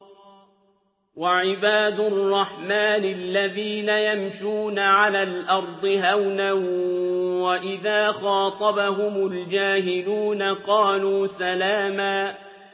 وَعِبَادُ الرَّحْمَٰنِ الَّذِينَ يَمْشُونَ عَلَى الْأَرْضِ هَوْنًا وَإِذَا خَاطَبَهُمُ الْجَاهِلُونَ قَالُوا سَلَامًا